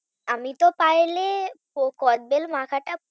আমি তো পাইলে কদবেল মাখাটা পুরোটা